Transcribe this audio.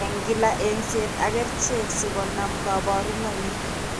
Eng' kila eng'seet ak kercheek sikonaam kaborunoik